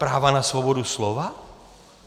Práva na svobodu slova?